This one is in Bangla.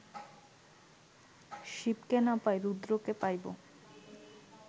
শিবকে না পাই, রুদ্রকে পাইব